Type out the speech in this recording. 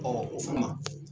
o